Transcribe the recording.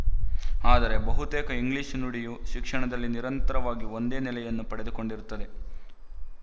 ಆದರೆ ಬಹುತೇಕ ಇಂಗ್ಲಿಶು ನುಡಿಯು ಶಿಕ್ಷಣದಲ್ಲಿ ನಿರಂತರವಾಗಿ ಒಂದೇ ನೆಲೆಯನ್ನು ಪಡೆದುಕೊಂಡಿರುತ್ತದೆ